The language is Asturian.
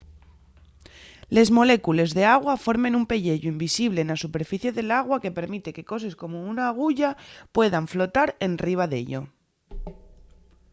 les molécules d’agua formen un pelleyu invisible na superficie del agua que permite que coses como una aguya puedan flotar enriba d’ello